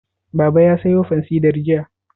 Baba ya sayo fansidar jiya?